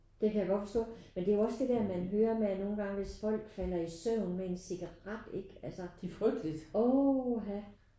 Det kan jeg godt forstå. Men det er jo også det der man hører med at nogen gange hvis folk falder i søvn med en cigaret ikke altså uha